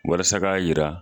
Walasa ka yira.